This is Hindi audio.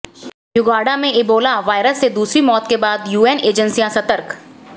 यूगांडा में ईबोला वायरस से दूसरी मौत के बाद यूएन एजेंसियां सतर्क